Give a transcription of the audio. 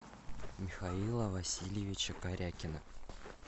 михаила васильевича корякина